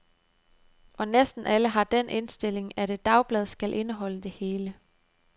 Og næsten alle har den indstilling, at et dagblad skal indeholde det hele.